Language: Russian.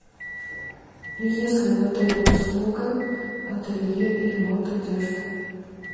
есть ли в отеле услуга ателье и ремонт одежды